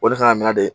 O de fana minɛ de